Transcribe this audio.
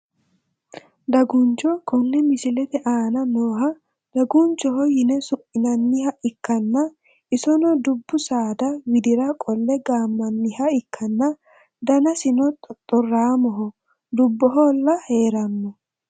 Daguncho kone misilete aana nooha dagunchoho yine su`minaniha ikanna isono dubbu saada widira qolle gaamaniha ikanna danasino xoxoraamoho dubohola heerano.